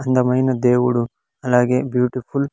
అందమైన దేవుడు అలాగే బ్యూటీఫుల్ .